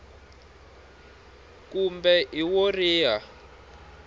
h kumbe i wo riha